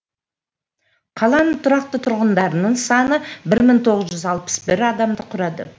қаланың тұрақты тұрғындарының саны бір мың тоғыз жүз алпыс бір адамды құрайды